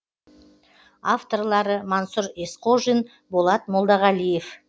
авторлары мансұр есқожин болат молдағалиев